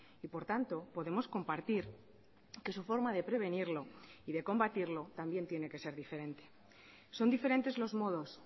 y por tanto podemos compartir que su forma de prevenirlo y de combatirlo también tiene que ser diferente son diferentes los modos